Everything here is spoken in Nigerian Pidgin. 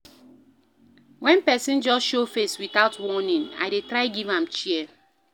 Wen pesin just show face witout warning, I dey try give am chair.